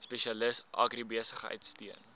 spesialis agribesigheid steun